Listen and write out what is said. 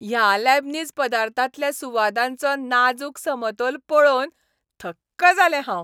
ह्या लॅबनीज पदार्थांतल्या सुवादांचो नाजूक समतोल पळोवन थक्क जालें हांव.